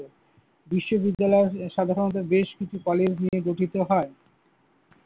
বিশ্ববিদ্যালয় সাধারণত বেশ কিছু কলেজ নিয়ে গঠিত হয়।